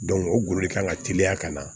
o golo de kan ka teliya ka na